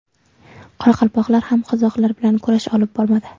Qoraqalpoqlar ham qozoqlar bilan kurash olib boradi.